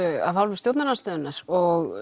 af hálfu stjórnarandstöðunnar og